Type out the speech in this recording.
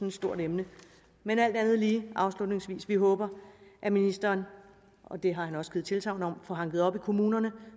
et stort emne men alt andet lige og afslutningsvis vi håber at ministeren og det har han også givet tilsagn om får hanket op i kommunerne